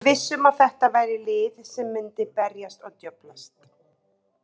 Við vissum að þetta væri lið sem myndi berjast og djöflast.